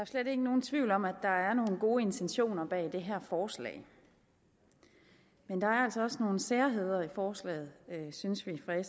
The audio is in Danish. slet ikke nogen tvivl om at der er nogle gode intentioner bag det her forslag men der er altså også nogle særheder i forslaget synes vi fra